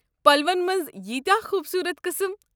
پلوَن مَنٛز ییٖتیٚاہ خوبصوٗرَت قٕسٕم!